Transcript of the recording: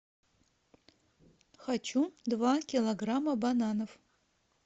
хочу два килограмма бананов